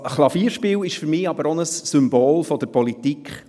Das Klavierspiel ist für mich aber auch ein Symbol für die Politik.